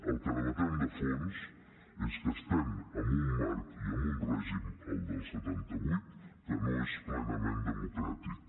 el que debatem de fons és que estem en un marc i en un règim el del setanta vuit que no és plenament democràtic